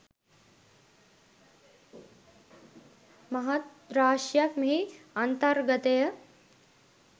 මහත් රාශියක් මෙහි අන්තර්ගතය